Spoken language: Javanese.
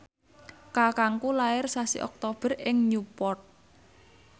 kakangku lair sasi Oktober ing Newport